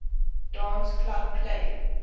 dance club play